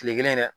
Kile kelen dɛ